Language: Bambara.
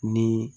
Ni